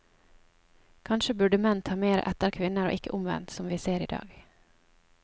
Kanskje burde menn ta mer etter kvinner og ikke omvendt, som vi ser i dag.